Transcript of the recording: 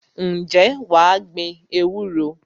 Ǹjẹ́ wà á gbin ewúro?